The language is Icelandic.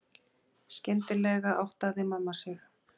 Skyndilega áttaði mamma sig.